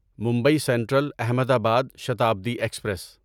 Mumbai central Ahmedabad Shatabdi express